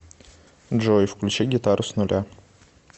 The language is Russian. джой включи гитару с нуля